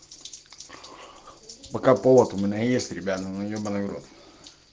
пока повод у меня есть ребята ну ебанный в рот